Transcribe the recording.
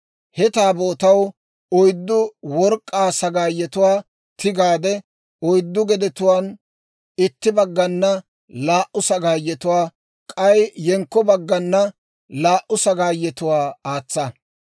He Taabootaw oyddu work'k'aa sagaayetuwaa tigaade oyddu gedetuwaan itti baggana laa"u sagaayetuwaa, k'ay yenkko baggana laa"u sagaayetuwaa aatsa.